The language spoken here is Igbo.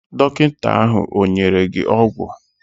Dọkịta ahụ ọ nyere gị ọgwụ?